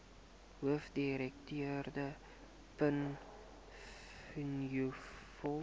hoofdirekteur penny vinjevold